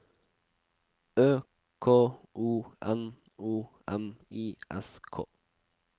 Ø K O N O M I S K